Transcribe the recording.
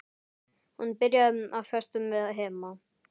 Hún byrjaði á föstu með Hemma.